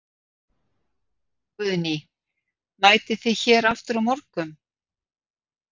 Guðný: Mætið þið hér aftur á morgun?